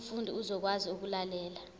umfundi uzokwazi ukulalela